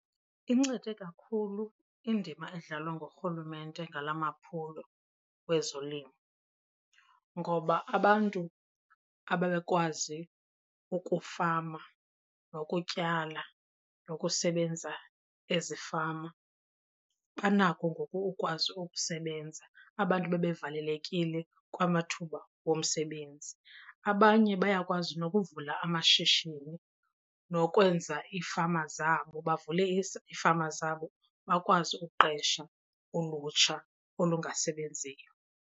Incede kakhulu indima edlalwa nguRhulumente ngala maphulo kwezolimo ngoba abantu ababekwazi ukufama nokutyala nokusebenza ezifama banako ngoku ukukwazi ukusebenza, abantu ababevalelekile kwamathuba womsebenzi. Abanye bayakwazi nokuvula amashishini nokwenza iifama zabo, bavule iifama zabo bakwazi ukuqesha ulutsha olungasebenziyo.